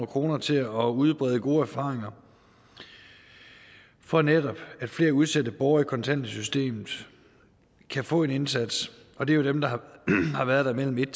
kroner til at udbrede gode erfaringer for netop at flere udsatte borgere i kontanthjælpssystemet kan få en indsats og det er jo dem der har været der imellem en